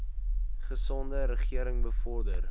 gesonde regering bevorder